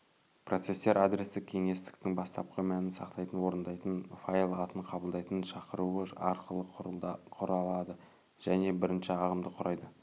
процестер адрестік кеңістіктің бастапқы мәнін сақтайтын орындайтын файл атын қабылдайтын шақыруы арқылы құрылады және бірінші ағымды құрайды